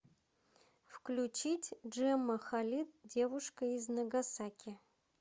включить джемма халид девушка из нагасаки